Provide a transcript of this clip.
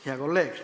Hea kolleeg!